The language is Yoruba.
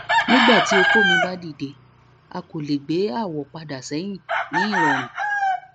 nigbati oko mi ba dide a ko le gbe awọ pada sẹhin ni irọrun